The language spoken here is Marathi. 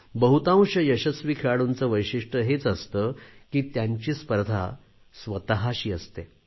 बहुतांश यशस्वी खेळाडूंचे वैशिष्ट्य हेच असते की त्यांची स्पर्धा स्वतशी असते